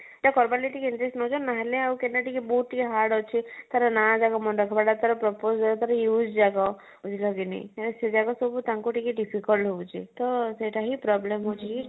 interest ନଉଛନ